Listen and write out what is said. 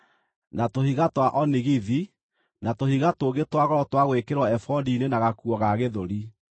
na tũhiga twa onigithi, na tũhiga tũngĩ twa goro twa gwĩkĩrwo ebodi-inĩ na gakuo ga gĩthũri.